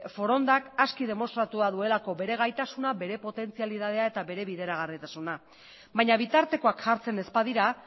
forondak aski demostratua duelako bere gaitasuna bere potentzialidadea eta bere bideragarritasuna baina bitartekoak jartzen ez badira